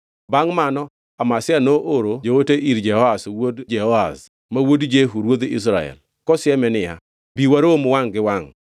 Bangʼ mano Amazia nooro joote ir Jehoash wuod Jehoahaz, ma wuod Jehu ruodh Israel, kosieme niya, “Bi warom wangʼ gi wangʼ.”